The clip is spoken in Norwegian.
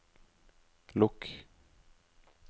lukk